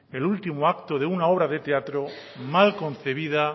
el último acto de una obra de teatro mal concebida